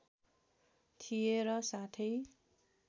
थिए र साथै